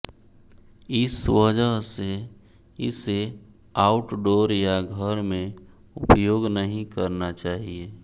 इस वजह से इसे आउटडोर या घर में उपयोग नहीं करना चाहिए